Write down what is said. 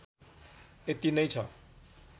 यति नै छ